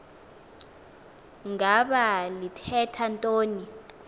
ngaba lithetha ntoni